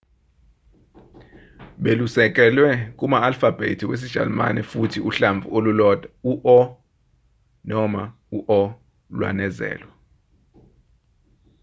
belusekelwe kuma-alfabhethi wesijalimane futhi uhlamvu olulodwa u-õ/õ lwanezelwa